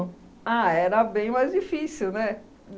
Ah, era bem mais difícil, né?